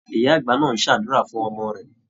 Ìyá-àgbà náà ń ṣàdúrà fún ọmọ rẹ̀.